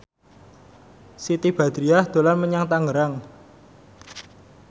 Siti Badriah dolan menyang Tangerang